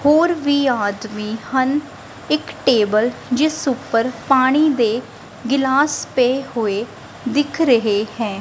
ਹੋਰ ਵੀ ਆਦਮੀ ਹਨ ਇੱਕ ਟੇਬਲ ਜਿਸ ਊਪਰ ਪਾਣੀ ਦੇ ਗਿਲਾਸ ਪਏ ਹੋਏ ਦਿੱਖ ਰਹੇ ਹੈਂ ।